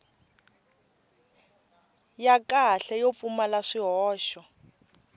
ya kahle yo pfumala swihoxo